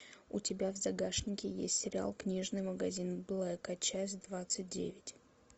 у тебя в загашнике есть сериал книжный магазин блэка часть двадцать девять